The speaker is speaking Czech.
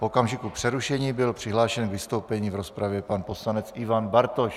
V okamžiku přerušení byl přihlášen k vystoupení v rozpravě pan poslanec Ivan Bartoš.